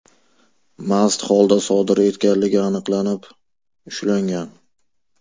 mast holda sodir etganligi aniqlanib, ushlangan.